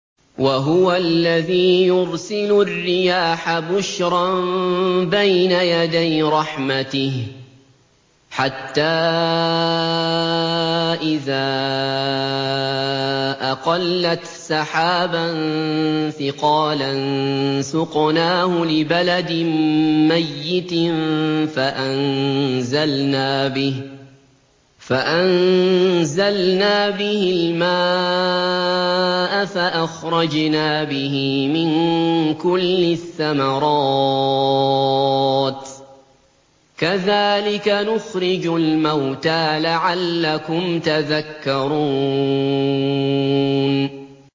وَهُوَ الَّذِي يُرْسِلُ الرِّيَاحَ بُشْرًا بَيْنَ يَدَيْ رَحْمَتِهِ ۖ حَتَّىٰ إِذَا أَقَلَّتْ سَحَابًا ثِقَالًا سُقْنَاهُ لِبَلَدٍ مَّيِّتٍ فَأَنزَلْنَا بِهِ الْمَاءَ فَأَخْرَجْنَا بِهِ مِن كُلِّ الثَّمَرَاتِ ۚ كَذَٰلِكَ نُخْرِجُ الْمَوْتَىٰ لَعَلَّكُمْ تَذَكَّرُونَ